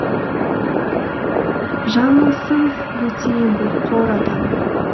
жаңылсын өте еңбекқор адам